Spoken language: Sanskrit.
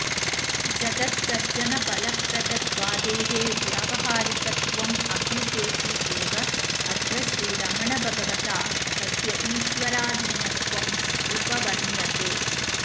जगत्सर्जनफलप्रदत्वादेः व्यावहारिकत्वं अभ्युपेति एव अत्र श्रीरमणभगवता तस्य ईश्वराधीनत्वं उपवर्ण्यते